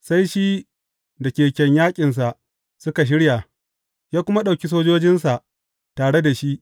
Sai shi da keken yaƙinsa suka shirya, ya kuma ɗauki sojojinsa tare da shi.